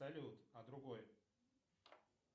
салют а другой